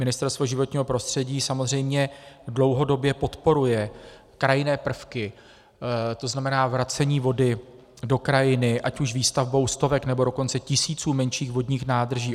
Ministerstvo životního prostředí samozřejmě dlouhodobě podporuje krajinné prvky, to znamená vracení vody do krajiny ať už výstavbou stovek, nebo dokonce tisíců menších vodních nádrží.